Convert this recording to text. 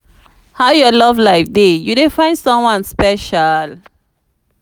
how your love life dey you dey find someone special?